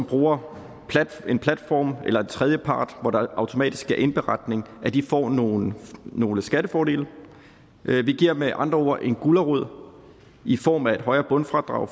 bruger en platform eller en tredjepart hvor der automatisk sker indberetning får nogle nogle skattefordele vi giver med andre ord en gulerod i form af et højere bundfradrag